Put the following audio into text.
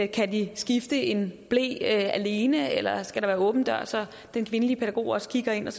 kan de skifte en ble alene eller skal der være åben dør så den kvindelige pædagog også kigger ind og